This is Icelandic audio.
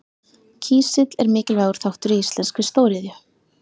Kísill er mikilvægur þáttur í íslenskri stóriðju.